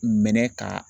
Mɛnɛ ka